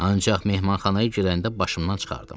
Ancaq mehmanxanaya girəndə başımdan çıxardım.